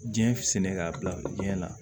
Diɲɛ sɛnɛ k'a bila biyɛn na